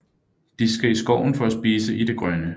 De skal i skoven for at spise i det grønne